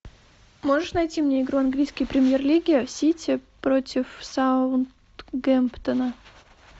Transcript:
можешь найти мне игру английской премьер лиги сити против саутгемптона